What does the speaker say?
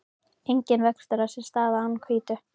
Enginn vöxtur á sér stað án hvítu.